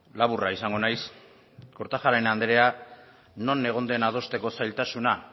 laburra izango naiz kortajarena andrea non egon den adosteko zailtasuna